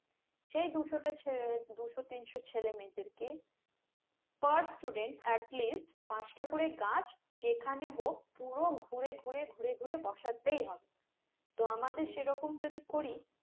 সেই দুশোটা চে উহ দুশো তিনশত ছেলে মেয়েদেরকে per student at least পাঁচটা করে গাছ যে খানে হোক পুরো ঘুরে ঘুরে ঘুরে ঘুরে বসতেই হবে তো আমাদের সেরকম যদি করি